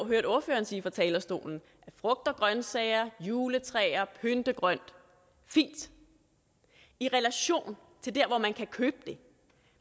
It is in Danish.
hørte ordføreren sige fra talerstolen frugt og grøntsager juletræer pyntegrønt fint i relation til der hvor man kan købe det